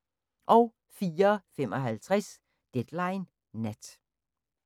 04:55: Deadline Nat